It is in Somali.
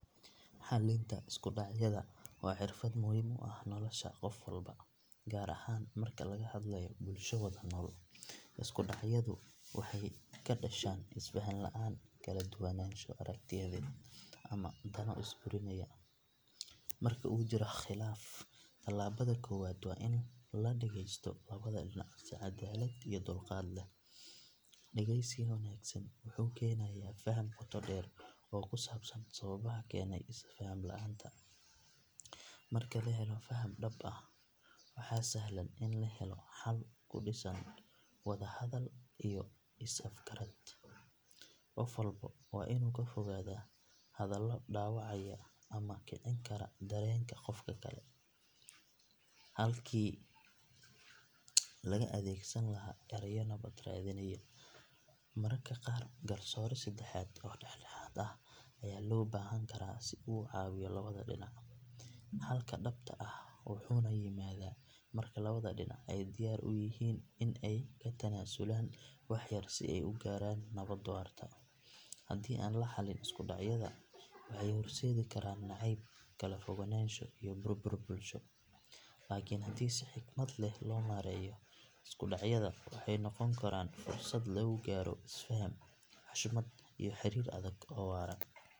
Xalinta isku dhacyada waa xirfad muhiim u ah nolosha qof walba, gaar ahaan marka laga hadlayo bulsho wada nool. Isku dhacyadu waxay ka dhashaan isfahan la’aan, kala duwanaansho aragtiyeed, ama dano isburinaya. Marka uu jiro khilaaf, tallaabada koowaad waa in la dhageysto labada dhinac si cadaalad iyo dulqaad leh. Dhageysiga wanaagsan wuxuu keenayaa faham qoto dheer oo ku saabsan sababaha keenay isfaham la’aanta. Marka la helo faham dhab ah, waxaa sahlan in la helo xal ku dhisan wada hadal iyo is afgarad. Qof walba waa inuu ka fogaadaa hadallo dhaawacaya ama kicin kara dareenka qofka kale, halkii laga adeegsan lahaa erayo nabad raadinaya. Mararka qaar, garsoore saddexaad oo dhexdhexaad ah ayaa loo baahan karaa si uu u caawiyo labada dhinac. Xalka dhabta ah wuxuu yimaadaa marka labada dhinac ay diyaar u yihiin in ay ka tanaasulaan wax yar si ay u gaaraan nabad waarta. Haddii aan la xallin isku dhacyada, waxay horseedi karaan nacayb, kala fogaansho iyo burbur bulsho. Laakiin haddii si xikmad leh loo maareeyo, isku dhacyada waxay noqon karaan fursad lagu gaaro isfahan, xushmad iyo xiriir adag oo waara.